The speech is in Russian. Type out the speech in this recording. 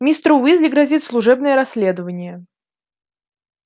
мистеру уизли грозит служебное расследование